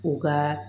U ka